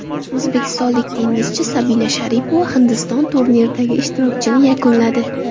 O‘zbekistonlik tennischi Sabina Sharipova Hindiston turniridagi ishtirokini yakunladi.